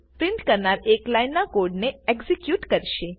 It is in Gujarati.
પ્રિન્ટ કરનાર એક લાઈનના કોડ ને એક્ઝેક્યુટ કરશે